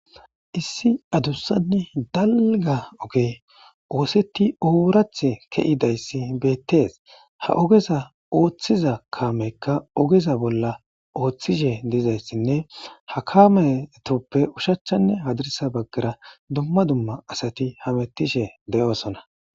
Issi adussanne dalga oge oosetti oraatee ki'idayssi beettees. Ha ogeza ooththiza kaameykka ogeza bolla ooththishe dizayssinne hakametoppe ushachchanne hadirisa baggara dumma dumma asati heemettishe de'osona